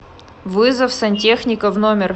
вызов сантехника в номер